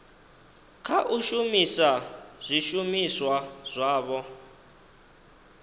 kha u shumisa zwishumiswa zwavho